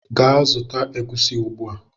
Gaa zụta egusi ugbua!